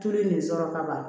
Tulu in sɔrɔ ka ban